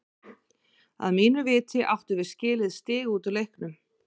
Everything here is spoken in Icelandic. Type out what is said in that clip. Að mínu viti áttum við skilið stig út úr leiknum.